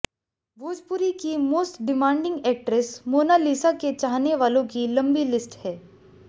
भोजपुरी की most demanding actress Monalisa के चाहने वालों की लंबी लिस्ट है